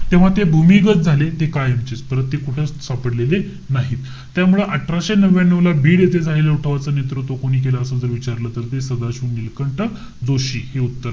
तेव्हा ते भूमिगत झाले. ते कायमचेच. परत ते कुठंच सापडलेले नाहीत. त्यामुळं, अठराशे नव्यानु ला, बीड येथे झालेल्या उठावाचा नेतृत्व कोणी केलं? असं विचारलं तर ते सदाशिव नीलकंठ जोशी. हे उत्तर.